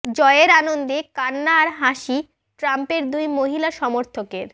জয়ের আনন্দে কান্না আর হাসি ট্রাম্পের দুই মহিলা সমর্থকের